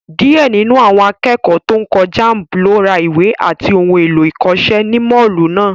Díẹ̀ nínú àwọn akẹ́kọ̀ọ́ tó ń kọ jamb ló ra ìwé àti ohun èlò ìkọ́ṣẹ́ ní Mọ́ọ̀lù náà